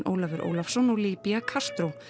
Ólafur Ólafsson og Libia Castro